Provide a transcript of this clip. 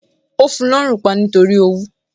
Ó fun lọ́rùn pa nítorí owú